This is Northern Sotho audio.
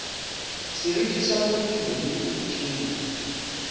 seriti sa motho le tšeo